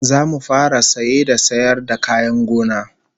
Zamu fara saye da sayar da kayan gona